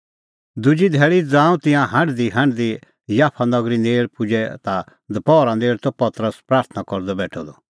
दुजी धैल़ी ज़ांऊं तिंयां हांढदीहांढदी याफा नगरी नेल़ पुजै ता दपहरा नेल़ त पतरस प्राथणां करदअ बेठअ द